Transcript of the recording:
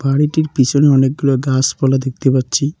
বাড়িটির পিছনে অনেকগুলো গাসপালা দেখতে পাচ্ছি।